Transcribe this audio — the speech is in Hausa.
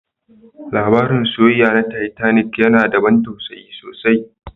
Labarin soyayya na Titanic yana da ban tausayi sosai